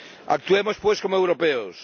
Actuemos, pues, como europeos.